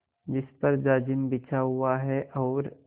जिस पर जाजिम बिछा हुआ है और